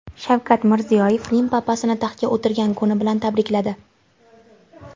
Shavkat Mirziyoyev Rim papasini taxtga o‘tirgan kuni bilan tabrikladi.